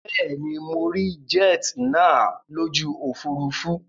Bẹ́ẹ̀ ni, mo rí jet nàá lójú òfurufú